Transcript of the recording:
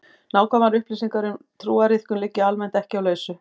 Nákvæmar upplýsingar um trúariðkun liggja almennt ekki á lausu.